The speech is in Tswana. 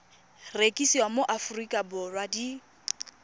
rekisiwa mo aforika borwa di